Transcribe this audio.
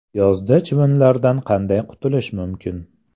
Yozda chivinlardan qanday qutulish mumkin?.